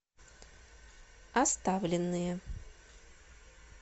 оставленные